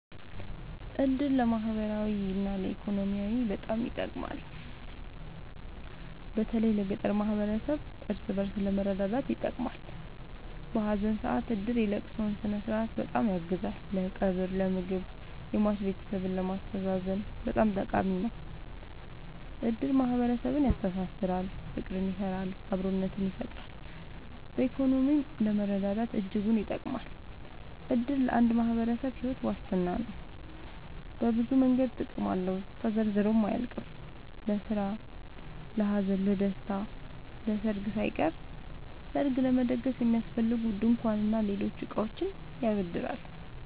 እድር ለማህበራዊ እና ኢኮኖሚያዊ በጣም ይጠቅማል። በተለይ ለገጠር ማህበረሰብ እርስ በእርስ ለመረዳዳት ይጠቅማል። በሀዘን ሰአት እድር የለቅሶውን ስነስርዓት በጣም ያግዛል ለቀብር ለምግብ የሟች ቤተሰብን ለማስተዛዘን በጣም ጠቃሚ ነው። እድር ማህረሰብን ያስተሳስራል። ፍቅር ይሰራል አብሮነትን ይፈጥራል። በኢኮኖሚም ለመረዳዳት እጅጉን ይጠብማል። እድር ለአንድ ማህበረሰብ ሒወት ዋስትና ነው። በብዙ መንገድ ጥቅም አለው ተዘርዝሮ አያልቅም። ለስራ ለሀዘን ለደሰታ። ለሰርግ ሳይቀር ሰርግ ለመደገስ የሚያስፈልጉ ድንኳን እና ሌሎች እቃዎችን ያበድራል